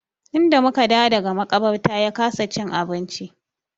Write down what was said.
Tun da mu ka dawo daga maƙabarta ya kasa cin abinci.